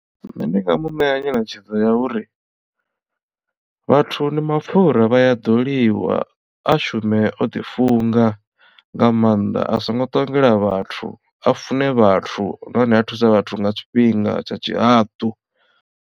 Nṋe ndi nga mu ṋea nyeletshedzo ya uri vhathu ndi mapfura vha a ḓoliwa a shume o ḓi funga nga maanḓa a songo ṱongela vhathu a fune vhathu nahone a thuse vhathu nga tshifhinga tsha tshihaḓu.